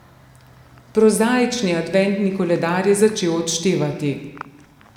Prozaični adventni koledar je začel odštevati.